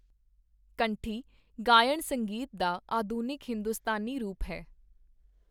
ਕੰਠੀ ਗਾਇਣ ਸੰਗੀਤ ਦਾ ਆਧੁਨਿਕ ਹਿੰਦੁਸਤਾਨੀ ਰੂਪ ਹੈ।